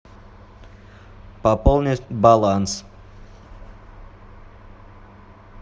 пополнить баланс